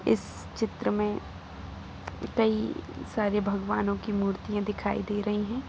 इस चित्र में कई सारे भगवानो की मूर्तियां दिखाई दे रही हैं।